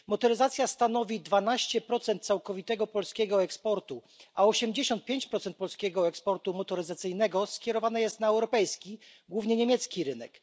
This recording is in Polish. Motoryzacja stanowi 12 całkowitego polskiego eksportu, a 85 procent polskiego eksportu motoryzacyjnego skierowane jest na europejski głównie niemiecki rynek.